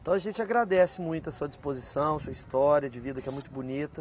Então a gente agradece muito a sua disposição, sua história de vida que é muito bonita.